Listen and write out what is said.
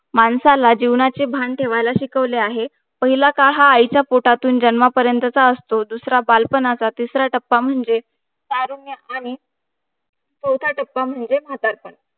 माणसाला जीवनाचे भान शिकवले आहे पहिला काळ हा आईच्या पोटातुन जन्म परेट चा असतो दुसरा बाळ पानाचा तिसरा टप्पा म्हणजे तारुण्य आणि चौथा टप्पा म्हणजे म्हातारपण